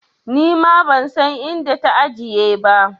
Nima ban san inda ta ajiye ba.